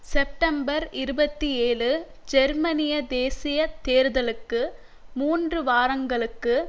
September இருபத்தி ஏழு ஜெர்மனிய தேசிய தேர்தலுக்கு மூன்று வாரங்களுக்கு